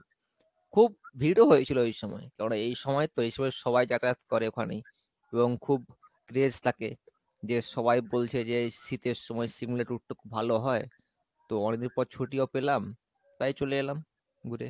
খুব ভিড়ও হয়েছিল ওই সময় কেননা এই সময় তো এই সময় সবাই যাতায়াত করে ওখানেই এবং খুব craze থেকে যে সবাই বলছে যে এই শীতের সময় সিমলা tour টা খুব ভালো হয় তো অনিক দিন পর ছুটিও পেলাম তাই চলে এলাম ঘুরে।